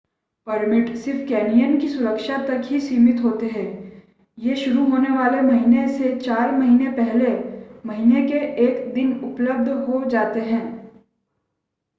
permit सिर्फ canyon की सुरक्षा तक ही सीमित होते हैं ये शुरू होने वाले महीने से चार महीने पहले महीने के 1 दिन उपलब्ध हो जाते हैं